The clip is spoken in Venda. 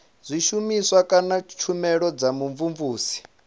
zwishumiswa kana tshumelo dza vhumvumvusi